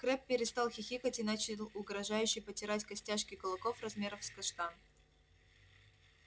крэбб перестал хихикать и начал угрожающе потирать костяшки кулаков размером с каштан